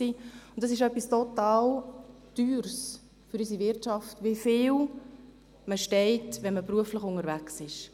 Es ist für unsere Wirtschaft etwas total Teures, wie viel man steht, wenn man beruflich unterwegs ist.